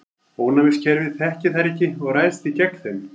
Ónæmiskerfið þekkir þær ekki og ræðst því gegn þeim.